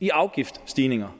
i afgiftsstigninger